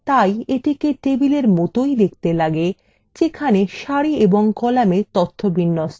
তাই এটিকে table মতই দেখতে লাগে যেখানে সারি এবং কলামে তথ্য থাকে